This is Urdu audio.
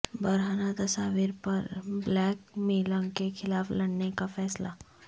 برہنہ تصاویر پر بلیک میلنگ کے خلاف لڑنے کا فیصلہ